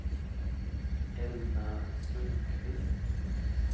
Elna Sundkvist